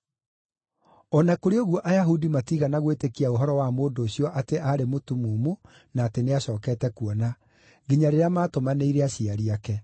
O na kũrĩ ũguo Ayahudi matiigana gwĩtĩkia ũhoro wa mũndũ ũcio atĩ aarĩ mũtumumu na atĩ nĩacookete kuona, nginya rĩrĩa maatũmanĩire aciari ake.